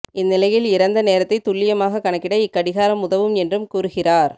இந்நிலையில் இறந்த நேரத்தை துல்லியமாக கணக்கிட இக்கடிகாரம் உதவும் என்றும் கூறுகிறார்